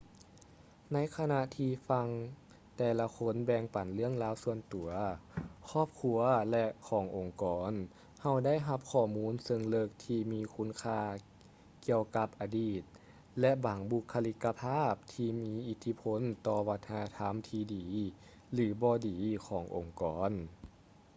ໃນຂະນະທີ່ຟັງແຕ່ລະຄົນແບ່ງປັນເລື່ອງລາວສ່ວນຕົວ ຄອບຄົວ ແລະ ຂອງອົງກອນ ເຮົາໄດ້ຮັບຂໍ້ມູນເຊີງເລິກທີ່ມີຄຸນຄ່າກ່ຽວກັບອະດີດ ແລະ ບາງບຸກຄະລິກກະພາບທີ່ມີອິດທິພົນຕໍ່ວັດທະນະທຳທີ່ດີ ຫຼື ບໍ່ດີຂອງອົງກອນ